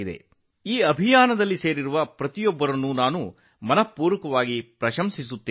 ಈ ಅಭಿಯಾನದಲ್ಲಿ ತೊಡಗಿಸಿಕೊಂಡಿರುವ ಎಲ್ಲರಿಗೂ ನನ್ನ ಹೃದಯಾಂತರಾಳದ ಅಭಿನಂದನೆಗಳು